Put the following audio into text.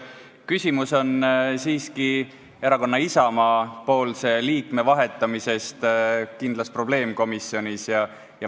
Küsimus on siiski erakonna Isamaa esindaja vahetamises ühes kindlas probleemkomisjonis.